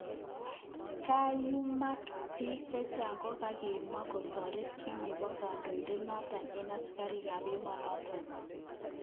Kayumak bik chechang kokakimwa kotoret kit nebo kodoin'det noton eng asikarik kap emonoton.